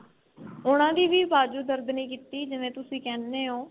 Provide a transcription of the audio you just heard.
ਉਨ੍ਹਾਂ ਦੀ ਵੀ ਬਾਜੂ ਦਰਦ ਨਹੀਂ ਕੀਤੀ ਜਿਵੇਂ ਤੁਸੀਂ ਕਹਿਨੇ ਓ.